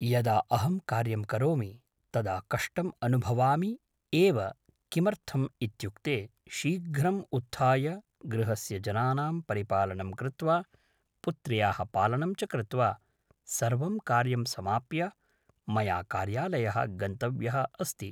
यदा अहं कार्यं करोमि तदा कष्टम् अनुभवामि एव किमर्थम् इत्युक्ते शीघ्रम् उत्थाय गृहस्य जनानां परिपालनं कृत्वा पुत्र्याः पालनं च कृत्वा सर्वं कार्यं समाप्य मया कार्यालयः गन्तव्यः अस्ति